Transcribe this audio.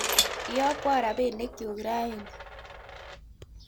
iyokwo rapinikchu raini